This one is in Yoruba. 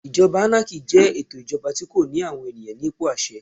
Ìjọba ánákì jẹ́ ètò ìjọba tí kò ní àwọn ènìyàn nípò àṣẹ.